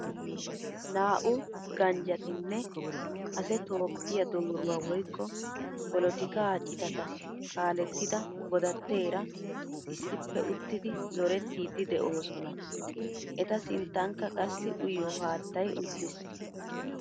Naa'u ganjjattinne kase toophphiyaa dooruwaa woykko polotikka citata kaalettida godatteera issippe uttidi zorettidi deosona. Eta sinttankka qassi uyiyo haattaay uttiis.